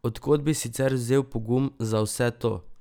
Od kod bi sicer vzel pogum za vse to?